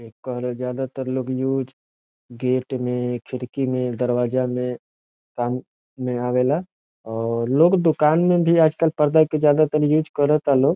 एकर ज्यादा तर लोग यूज़ गेट में खिड़की में दरवाजा में पानी ले आवेला और लोग दुकान में भी आज कल पर्दा के ज्यादातर यूज़ करा ता लोग |